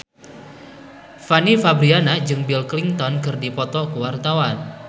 Fanny Fabriana jeung Bill Clinton keur dipoto ku wartawan